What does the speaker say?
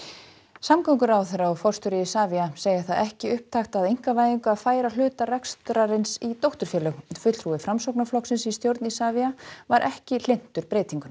samgönguráðherra og forstjóri Isavia segja það ekki upptakt að einkavæðingu að færa hluta rekstrarins í dótturfélög fulltrúi Framsóknarflokksins í stjórn Isavia var ekki hlynntur breytingunni